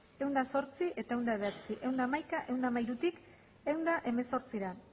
ehun eta zortzi ehun eta bederatzi ehun eta hamaika ehun eta hamairutik ehun eta hemezortzira